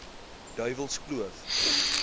duiwelskloof